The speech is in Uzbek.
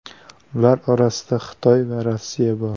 Ular orasida Xitoy va Rossiya bor.